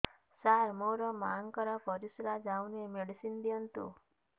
ସାର ମୋର ମାଆଙ୍କର ପରିସ୍ରା ଯାଉନି ମେଡିସିନ ଦିଅନ୍ତୁ